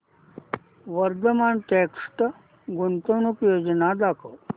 Vardhman text गुंतवणूक योजना दाखव